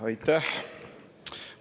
Aitäh!